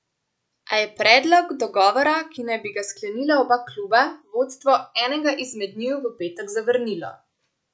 A je predlog, dogovora, ki naj bi ga sklenila oba kluba, vodstvo enega izmed njiju v petek zavrnilo.